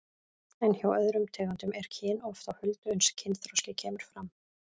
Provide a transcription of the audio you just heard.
En hjá öðrum tegundum er kyn oft á huldu uns kynþroski kemur fram.